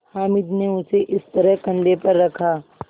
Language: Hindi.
हामिद ने उसे इस तरह कंधे पर रखा